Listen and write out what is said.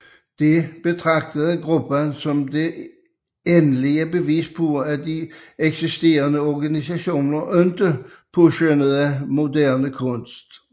Dette betragtede gruppen som det endelige bevis på at de eksisterende organisationer ikke påskønnede moderne kunst